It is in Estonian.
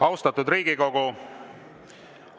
Austatud Riigikogu!